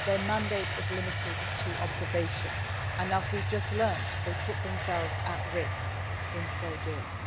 Their mandate is limited to observation and, as we have just learned, they put themselves at risk in so doing.